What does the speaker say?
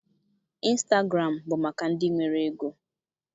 Instagụram bụ maka ndị nwere ego.